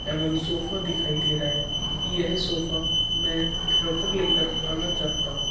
एवम सोफा दिखाई दे रहा है यह सोफा में घर पर लेकर आना चाहता हूँ।